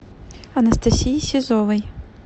анастасии сизовой